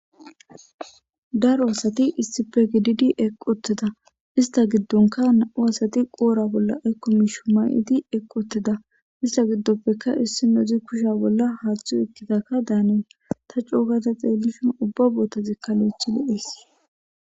daro asati issife gididi equteda ista giddonka na7u asati qoora bolla aykkomi shumay7idi eqquteda ista giddoppeka issi nozi kusha bolla haaththu ekkidakka daanen ta cougata xeellishon ubba bootazikka lo7ethi le7ies